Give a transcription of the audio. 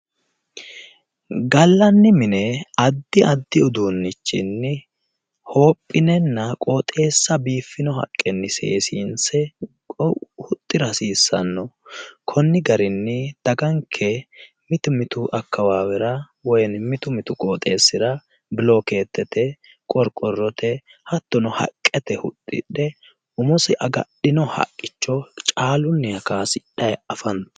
Gallanni mine addi addi uduunnichinni hoophinenna qooxeessa biifino haqqenni seesiinse huxira hasiissano konni garinni dagganke mitu mitu akkawaawera woyi mitu mitu qooxeesira bilookeetete, qorqorotenna hattono haqqete huxidhe umosi agadhino haqicho caallunniha kaasidhayi afantano.